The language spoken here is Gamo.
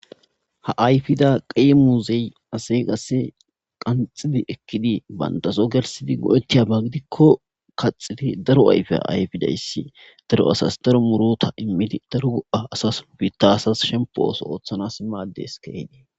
Ha ayfida xi muuze qasse qanxxidi ekidi banttaso gelssidi go7etiyaba gidiko axxidi daro ayfiya ayfidayssi daro asas daro muruutta immidi daro asas biita asas shemppo ooso ooththanas maaddees keehiddi.